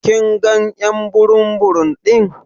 Kin gan y'an burum burum din?: